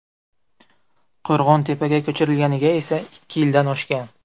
Qo‘rg‘ontepaga ko‘chirilganiga esa ikki yildan oshgan.